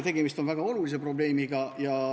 Tegemist on väga olulise probleemiga.